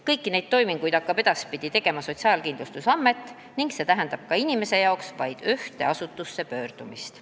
Kõiki neid toiminguid hakkab edaspidi tegema Sotsiaalkindlustusamet ning see tähendab ka inimese jaoks vajadust pöörduda vaid ühte asutusse.